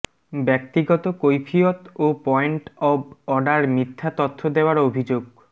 ব্যক্তিগত কৈফিয়ত ও পয়েন্ট অব অর্ডার মিথ্যা তথ্য দেওয়ার অভিযোগ